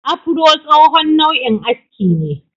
Afuro tsohon nau'in aski ne.